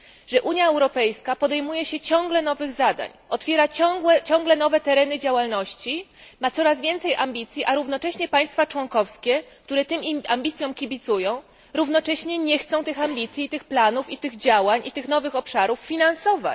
że Unia Europejska podejmuje się ciągle nowych zadań, otwiera ciągle nowe tereny działalności, ma coraz więcej ambicji, a równocześnie państwa członkowskie, które tym ambicjom kibicują, równocześnie nie chcą tych ambicji i tych planów, i tych działań, i tych nowych obszarów finansować.